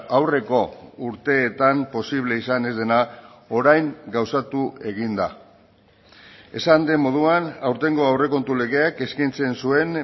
aurreko urteetan posible izan ez dena orain gauzatu egin da esan den moduan aurtengo aurrekontu legeak eskaintzen zuen